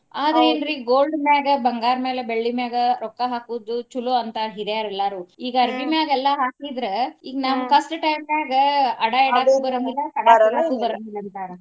ಆದ್ರ ಏನ್ರೀ ಈಗ gold ಮ್ಯಾಗ ಬಂಗಾರ ಮ್ಯಾಲ ಬೆಳ್ಳಿ ಮ್ಯಾಲ ರೊಕ್ಕಾ ಹಾಕುದು ಚಲೊ ಅಂತಾರ ಹಿರಿಯರು ಎಲ್ಲಾರು. ಈಗ ಅರಬಿ ಮ್ಯಾಲ ಎಲ್ಲಾ ಹಾಕಿದ್ರ ಈಗ ನಮ್ಮ ಕಷ್ಟ time ನ್ಯಾಗ ಅಡಾ ಇಡೋದು ಬರಾಂಗಿಲ್ಲಾ ಅಂತಾರ.